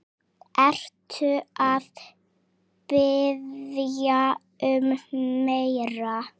Ertu að biðja um meira.